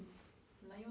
Lá em